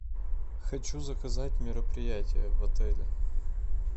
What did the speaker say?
хочу заказать мероприятие в отеле